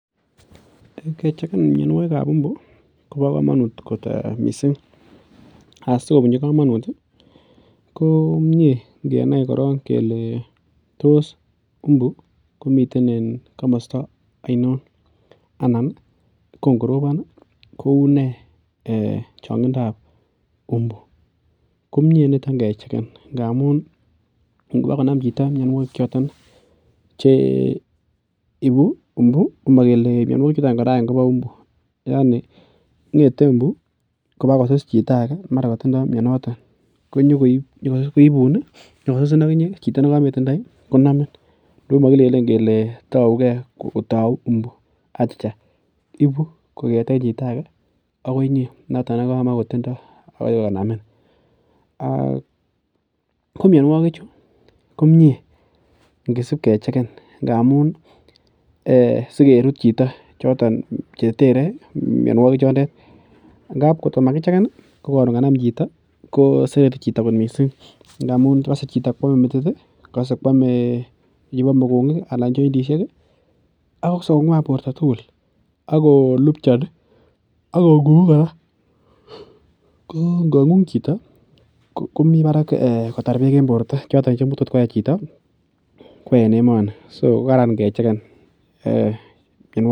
Kechegen mianogig kab imbu ko bo kamanut komie ngenai koron kele tos mbu komiten en kamasta ainon , komei niton kechegen ngamun ingo nam chito. Mianogig chuton kora any ko bo umbu yaani ng'ete mbu kobakosus chito age mara katindo mianoton konyogoibun ih , konyoko sussin aginye chito negametindoi Konamin. Ago magileen kele tauu gee, anan tauu imbu , achicha ibu kong'eten chito agoi inye noton nekamogotinye. Ak komianugig komie kisibkerut chito , kisibketer ngab kotkoma kichegen kosereti chito missing ngamun Kase chito ko ame metit ih, ame chointishek ih , akokase ko ng'uan borta tugul Ako lupchani Ako ng'ung'u kora ko , ng'ung chito komi barak en borto chetoskoyai chito kwo en emooni.